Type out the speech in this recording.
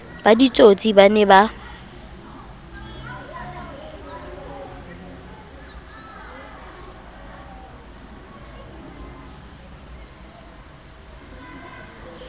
ba ditsotsi ba ne ba